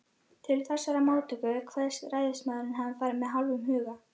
Til þessarar móttöku kveðst ræðismaðurinn hafa farið með hálfum huga.